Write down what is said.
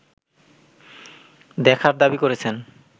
দেখার দাবি করেছেন